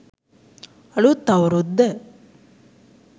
අලුත් අවුරුද්ද